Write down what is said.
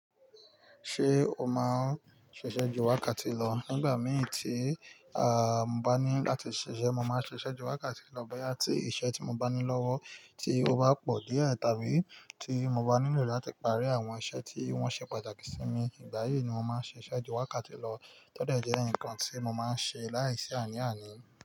Ṣé o máa ń ṣiṣẹ́ ju wákàtí lọ? Nígbà mìí tí, à, mo bá ní láti ṣiṣẹ́, mo máa ń ṣiṣẹ́ ju wákàtí lọ bóyá tí iṣẹ́ tí mo bá ní lọ́wọ́ tí ó bá pọ̀ díẹ̀ tàbí tí mo bá nílò láti parí àwọn iṣẹ́ tí wọ́n ṣe pàtàkì sí mi. Ìgbà yí ni mo máa ń ṣiṣẹ́ ju wákàtí lọ. To de je nǹkan tí mo máa ń ṣe láìsí àní àní.